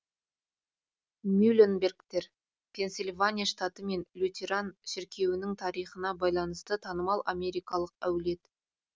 мюлленбергтер пенсильвания штаты мен лютеран шіркеуінің тарихына байланысты танымал америкалық әулет